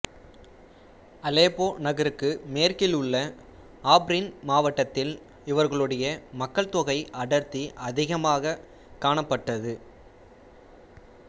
Aleppo நகருக்கு மேற்கில் உள்ள ஆப்ரின் மாவட்டத்தில் இவர்களுடைய மக்கள் தொகை அடர்த்தி அதிகமாகக் காணப்பட்டது